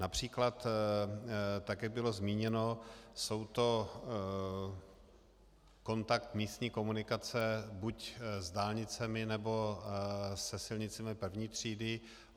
Například tak jak bylo zmíněno, je to kontakt místní komunikace buď s dálnicemi, nebo se silnicemi první třídy.